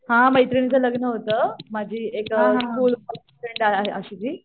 हा मेत्रीणींच लग्न होतं माझी एक अ स्कूल मधली फ्रेंईन्ड आहे अशीती